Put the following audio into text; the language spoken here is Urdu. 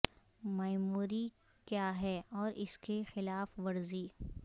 میموری کیا ہے اور اس کی خلاف ورزی